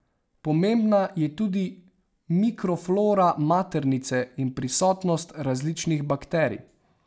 Pomembna je tudi mikroflora maternice in prisotnost različnih bakterij.